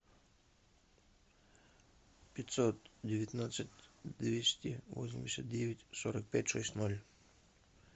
пятьсот девятнадцать двести восемьдесят девять сорок пять шесть ноль